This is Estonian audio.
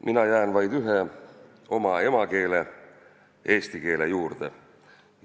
Mina jään vaid ühe, oma emakeele, eesti keele juurde.